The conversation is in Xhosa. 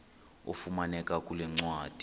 ifumaneka kule ncwadi